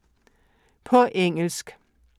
På engelsk